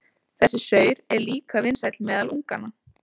Þessi saur er líka vinsæll meðal unganna.